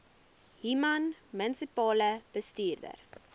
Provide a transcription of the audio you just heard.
human munisipale bestuurder